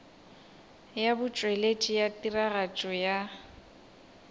ya botšweletši bja tiragatšo ya